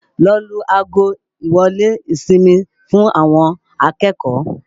Lọ lu ago ìwọ́lé ìsinmi fún àwọn akẹ́kọ̀ọ́!